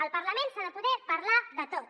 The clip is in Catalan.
al parlament s’ha de poder parlar de tot